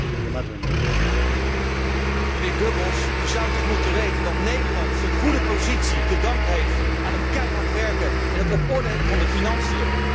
Voorzitter, mijnheer Goebbels, u zou toch moeten weten dat Nederland zijn goede positie te danken heeft aan het keihard werken en het op orde hebben van de financiën.